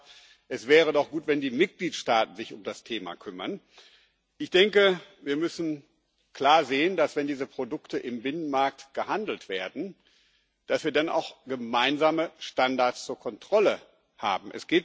Sie hat gesagt, es wäre doch gut, wenn die Mitgliedstaaten sich um das Thema kümmern. Ich denke, wir müssen klar sehen, dass, wenn diese Produkte im Binnenmarkt gehandelt werden, wir dann auch gemeinsame Standards zur Kontrolle haben.